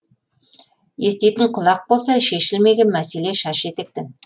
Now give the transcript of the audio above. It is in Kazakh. еститін құлақ болса шешілмеген мәселе шаш етектен